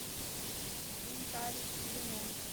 хинкали и вино